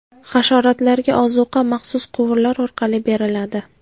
Hasharotlarga ozuqa maxsus quvurlar orqali beriladi.